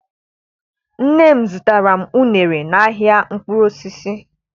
Nne m zụtara m uṅere n'ahịa mkpụrụ osisi.